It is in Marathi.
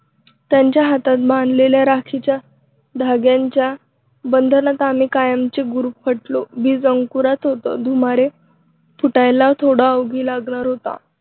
त्यांच्या हातात बांधलेल्या राखीच्या धाग्याच्या बंधनात आम्ही कायमचे गुरफटलो. बीज अंकुरत होतं. धुमारे फुटायला थोडा अवधी लागणार होता.